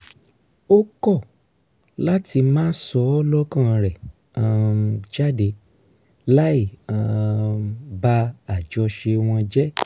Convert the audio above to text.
ó kọ́ láti máa sọ lọ́kàn rẹ̀ um jáde láì um ba àjọṣe wọn jẹ́